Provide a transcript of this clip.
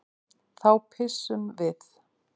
Þá pissum við.